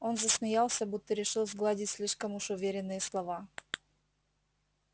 он засмеялся будто решил сгладить слишком уж уверенные слова